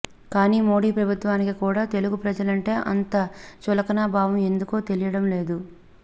కానీ మోడీ ప్రభుత్వానికి కూడా తెలుగు ప్రజలంటే అంత చులకన భావం ఎందుకో తెలియడం లేదు